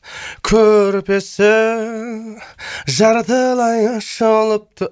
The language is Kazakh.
көрпесі жартылай ашылыпты